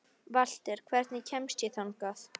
Valter, hvernig kemst ég þangað?